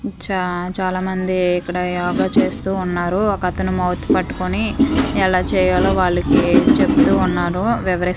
చా చాలామంది ఇక్కడ యోగ చేస్తూ ఉన్నారు ఒక అతను మౌత్ పట్టుకుని ఎలా చేయాలో వాళ్ళకి చెబుతున్నారు వివరిస్.